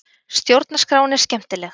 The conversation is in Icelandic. Stjórnarskráin er skemmtileg